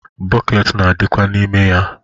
Bọket na-adikwa n'ime ya.